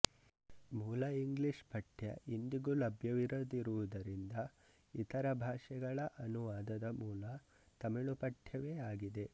ಮೂಲ ಇಂಗ್ಲಿಷ್ ಪಠ್ಯ ಇಂದಿಗೂ ಲಭ್ಯವಿರದಿರುವುದರಿಂದ ಇತರ ಭಾಷೆಗಳ ಅನುವಾದದ ಮೂಲ ತಮಿಳು ಪಠ್ಯವೇ ಆಗಿದೆ